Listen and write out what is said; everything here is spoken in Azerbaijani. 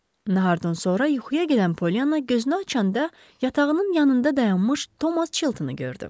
Nahardan sonra yuxuya gedən Poliana gözünü açanda yatağının yanında dayanmış Tomas Çiltonu gördü.